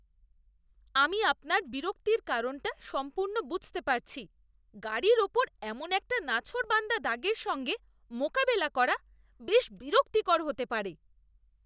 আমি আপনার বিরক্তির কারণটা সম্পূর্ণ বুঝতে পারছি। গাড়ির ওপর এমন একটা নাছোড়বান্দা দাগের সঙ্গে মোকাবেলা করা বেশ বিরক্তিকর হতে পারে।